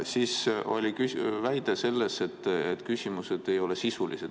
Siis oli väide selle kohta, et küsimused ei ole sisulised.